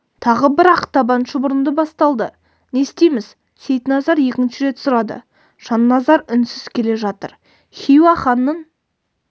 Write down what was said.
тағы бір ақтабан шұбырынды басталды не істейміз сейтназар екінші рет сұрады жанназар үнсіз келе жатыр хиуа ханының